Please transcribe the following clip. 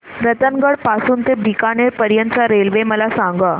रतनगड पासून ते बीकानेर पर्यंत च्या रेल्वे मला सांगा